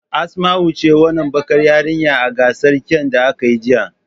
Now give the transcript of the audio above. Asmau was the beautiful dark skinned girl in the yesterday's beauty contest.